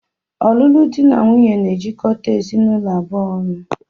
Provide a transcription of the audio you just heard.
Ọlụlụ dị na nwunye na-ejikọta ezinụlọ abụọ ọnụ